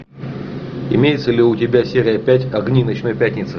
имеется ли у тебя серия пять огни ночной пятницы